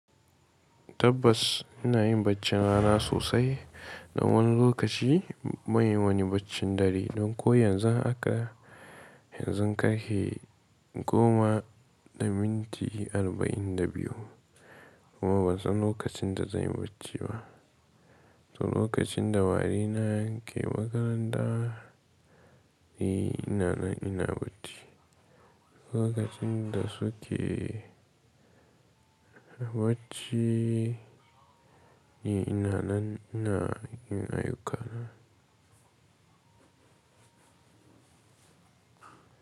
Tabbas ina yin baccin rana sosai don wani lokaci ban yin wani baccin dare don ko yanzu haka, yanzu karfe goma da minti arba'in da biyu kuma ban san lokacin da zan yi bacci ba. To lokacin da warina ke makaranta, ni ina nan ina bacci. Lokacin da suke bacci ni ina nan ina yin ayyukana.